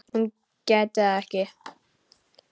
Hún gæti það ekki.